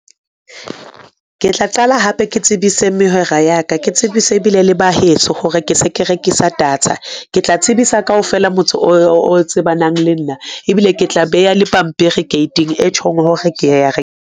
Ke tla qala hape ke tsebise mehwera ya ka, ke tsebise ebile le ba heso, hore ke se ke rekisa data ke tla tsebisa kaofela motse o tsebanang le nna, ebile ke tla beha le pampiri gate-ing e tjhong hore ke ya re.